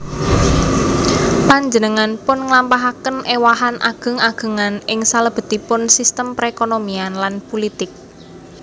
Panjenenganpun nglampahaken éwahan ageng agengan ing salebetipun sistem perekonomian lan pulitik